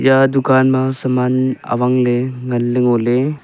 ta dukaan ma saman awang ley nganley ngoley.